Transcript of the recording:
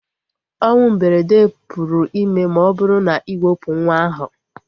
Onwụ mberede pụrụ ime ma ọ bụrụ na iwepu nwa ahu